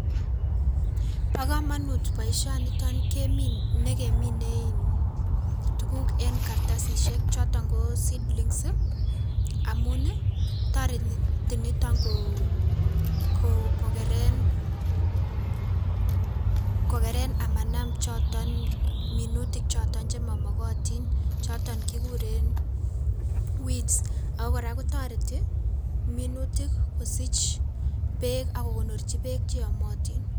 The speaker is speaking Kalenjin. Bo komonut boisioniton kemi nekemine tuguk en kartasisiek choton ko seedlings amuni toreti niton koo kokeren kokeren amanam choton minutik choton chemomokotin choton kikuren weeds ako kora kotoreti minutik kosich beek ak kokonorchi beek cheyomotin.